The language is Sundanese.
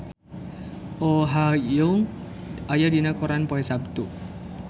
Oh Ha Young aya dina koran poe Saptu